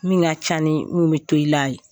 Min ka ca ni mun bɛ to i la ye